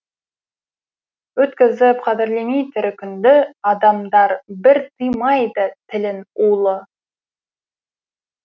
өткізіп қадірлемей тірі күнді адамдар бір тыймайды тілін улы